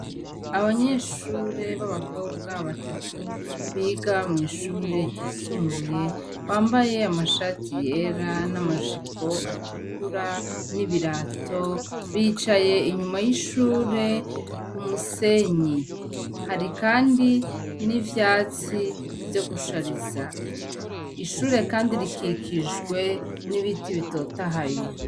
Abanyeshure babakobwa batatu biga mwishure ryisumbuye bambaye amashati yera namajipo atukura n'ibirato bicaye kumusenyi, harikandi nivyatsi vyo gushariza. Ishure Kandi rikikijwe nibiti bitotahaye.